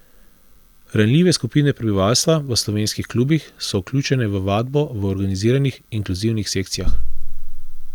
Ranljive skupine prebivalstva v slovenskih klubih so vključene v vadbo v organiziranih, inkluzivnih sekcijah.